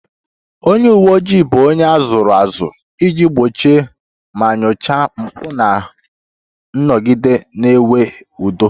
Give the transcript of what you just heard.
Onye uwe ojii bụ onye a zụrụ azụ iji gbochie ma nyochaa mpụ ma nọgide na-enwe udo